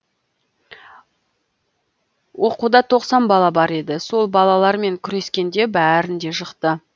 оқуда тоқсан бала бар еді сол балалар мен күрескенде бәрін де жықты